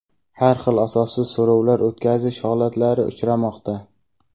har xil asossiz so‘rovlar o‘tkazish holatlari uchramoqda.